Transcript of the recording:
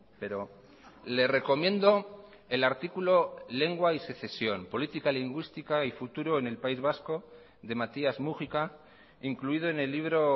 pero le recomiendo el artículo lengua y secesión política lingüística y futuro en el país vasco de matías múgica incluido en el libro